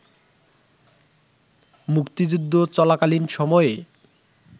মুক্তিযুদ্ধ চলাকালীন সময়ে